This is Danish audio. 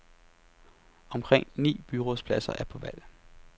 Omkring ni byrådspladser er på valg.